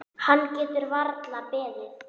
Hann getur varla beðið.